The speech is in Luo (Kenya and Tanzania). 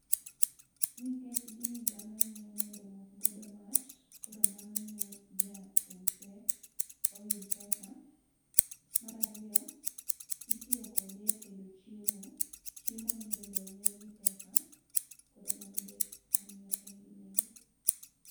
Nikech gini dhano ng'iew mondo omok godo mach, koro mano miyo ja use oyud pesa mar ariyo, itiyo kode e tedo chiemo, chiemoni bende ong'iew gi pesa, koro mano be omiyo en gi nengo